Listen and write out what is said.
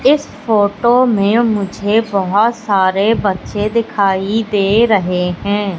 इस फोटो में मुझे बहोत सारे बच्चे दिखाई दे रहे है।